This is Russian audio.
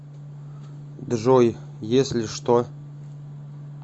джой если что